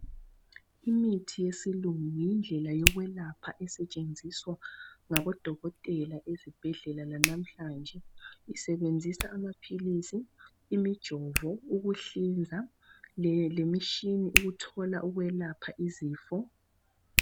Imithi yesilungu yindlela yokwelapha esetshenziswa ngabodokotela ezibhedlela lanamhlanje. Isebenzisa amaphilisi, imijovo, ukuhlinza, lemitshina ukuthola ukwelapha izifo.